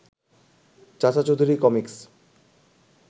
চাচা চৌধুরী কমিকস